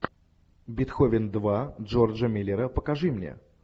бетховен два джорджа миллера покажи мне